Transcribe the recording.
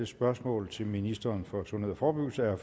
spørgsmål til ministeren for sundhed og forebyggelse er